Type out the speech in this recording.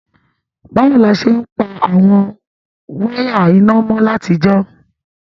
Bàwoni a se n pa àwon wire iná mo látijọ́?